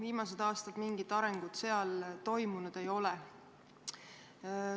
Viimastel aastatel seal mingit arengut toimunud ei ole.